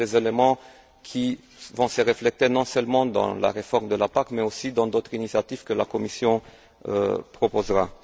Ce sont des éléments qui vont se refléter non seulement dans la réforme de la PAC, mais aussi dans d'autres initiatives que la Commission proposera.